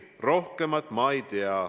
Rohkemat ma ei tea.